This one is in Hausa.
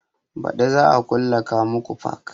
Baɗi za a kulle kamuku fark